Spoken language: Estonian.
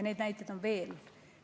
Neid näiteid on veel.